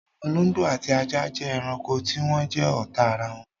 Olóngbó ati ajá jẹ́ ẹranko tí wọn jẹ́ ọ́ta arawọn.